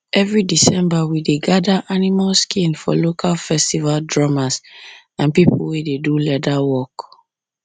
every december we dey gather animal skin for local festival drummers and people wey dey do leather work